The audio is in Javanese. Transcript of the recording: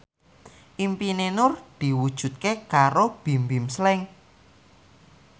impine Nur diwujudke karo Bimbim Slank